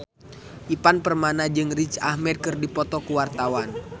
Ivan Permana jeung Riz Ahmed keur dipoto ku wartawan